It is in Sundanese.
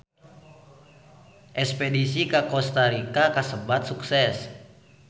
Espedisi ka Kosta Rika kasebat sukses